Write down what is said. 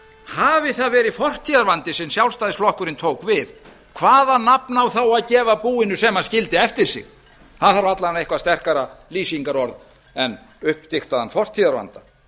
hafi það verið fortíðarvandi sem sjálfstæðisflokkurinn tók við hvaða nafn á þá að gefa búinu sem hann skildi eftir sig það þarf alla vega eitthvað sterkara lýsingarorð en uppdigtaðan fortíðarvanda